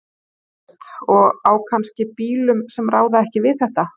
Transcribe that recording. Róbert: Og á kannski bílum sem ráða ekki við þetta?